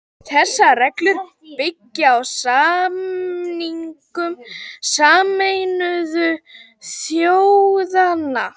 Þessar reglur byggja á samningum Sameinuðu þjóðanna.